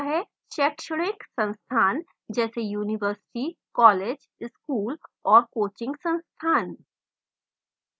शैक्षणिक संस्थान जैसे universities colleges schools और coaching संस्थान